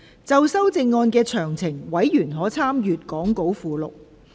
就修正案詳情，委員可參閱講稿附錄。